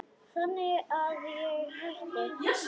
Þannig að ég hætti.